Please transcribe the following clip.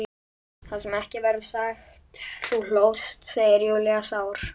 Það sem ekki verður sagt Þú hlóst, segir Júlía sár.